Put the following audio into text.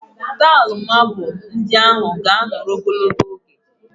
Tail mabụl ndị ahụ ga-anọrọ ogologo oge